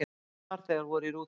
Engir farþegar voru í rútunni.